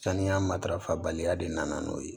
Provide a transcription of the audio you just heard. Saniya matarafa baliya de nana n'o ye